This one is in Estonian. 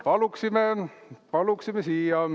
Paluksime siia!